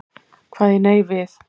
Kvað ég nei við.